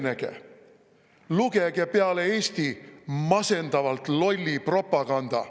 Süvenege, lugege peale Eesti masendavalt lolli propaganda …